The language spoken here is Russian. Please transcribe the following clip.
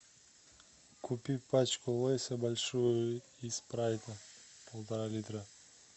купи пачку лейса большую и спрайта полтора литра